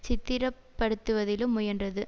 சித்திரப்படுத்துவதிலும் முயன்றது